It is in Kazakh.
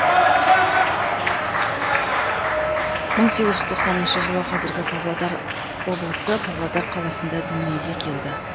мың сегіз жүз тоқсаныншы жылы қазіргі павлодар облысы павлодар қаласында дүниеге келді